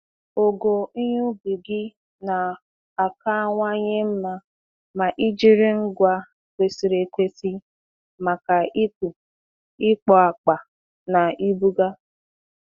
Ogo ihe ubi gị na-akawanye mma ma ị jiri ngwa kwesịrị ekwesị maka ịkpụ, ịkpọ akpa, na ibuga.